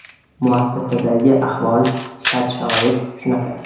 Muassasadagi ahvol, shart-sharoit shunaqa.